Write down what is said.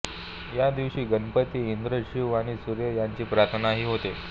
या दिवशी गणपती इंद्र शिव आणि सूर्य यांची प्रार्थनाही होते